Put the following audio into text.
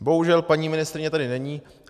Bohužel paní ministryně tady není.